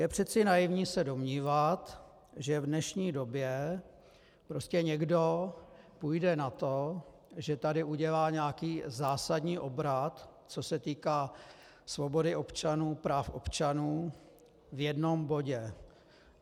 Je přece naivní se domnívat, že v dnešní době prostě někdo půjde na to, že tady udělá nějaký zásadní obrat, co se týká svobody občanů, práv občanů, v jednom bodě.